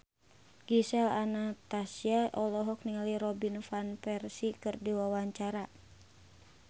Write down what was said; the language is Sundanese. Gisel Anastasia olohok ningali Robin Van Persie keur diwawancara